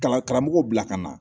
Kalan karamɔgɔw bila ka na